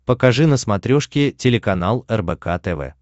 покажи на смотрешке телеканал рбк тв